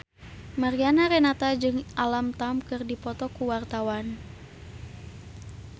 Mariana Renata jeung Alam Tam keur dipoto ku wartawan